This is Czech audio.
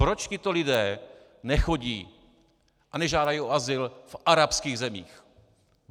Proč tito lidé nechodí a nežádají o azyl v arabských zemích?